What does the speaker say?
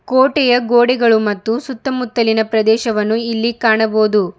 ಕೋಟೆಯ ಗೋಡೆಗಳು ಮತ್ತು ಸುತ್ತಮುತ್ತಲಿನ ಪ್ರದೇಶವನ್ನು ಇಲ್ಲಿ ಕಾಣಬಹುದು.